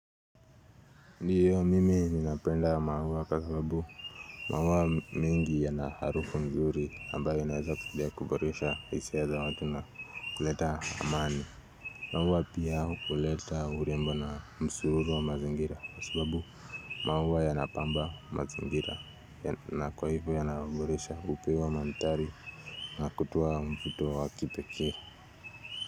Ndiyo mimi ninapenda maua kwa sababu. Maua mingi yana harufu mzuri ambayo inaweza kudia kuboresha hisia ya za watu na kuleta amani. Maua pia huleta urembo na msuru wa mazingira. Kwa sababu maua yanapamba mazingira na kwa hivo yana uboresha upewa mandhari na kutuwa mfuto wa kipekee.